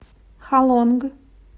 халонг